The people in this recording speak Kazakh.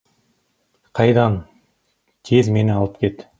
қайдан тез мені алып кет